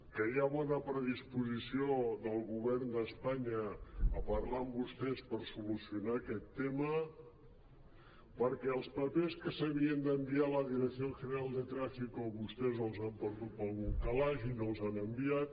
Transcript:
que hi ha bona predisposició del govern d’espanya a parlar amb vostès per solucionar aquest tema perquè els papers que s’havien d’enviar a la dirección general de tráfico vostès els han perdut per algun calaix i no els han enviat